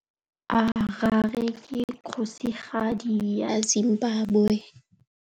Harare ke kgosigadi ya Zimbabwe.